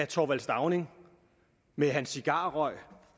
thorvald stauning med hans cigarrøg